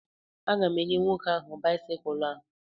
A ga m enyè nwoke áhù báịsikụlu a